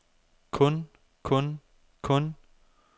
kun kun kun